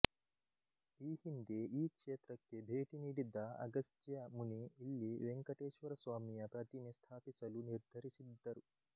ಈ ಹಿಂದೆ ಈ ಕ್ಷೇತ್ರಕ್ಕೆ ಭೇಟಿ ನೀಡಿದ್ದ ಅಗಸ್ತ್ಯ ಮುನಿ ಇಲ್ಲಿ ವೆಂಕಟೇಶ್ವರಸ್ವಾಮಿಯ ಪ್ರತಿಮೆ ಸ್ಥಾಪಿಸಲು ನಿರ್ಧರಿಸಿದ್ದರು